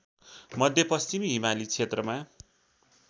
मध्यपश्चिमी हिमाली क्षेत्रमा